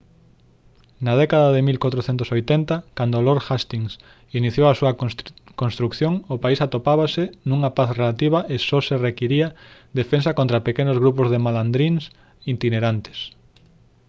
na década de 1480 cando lord hastings iniciou a súa construción o país atopábase nunha paz relativa e só se requiría defensa contra pequenos grupos de malandríns itinerantes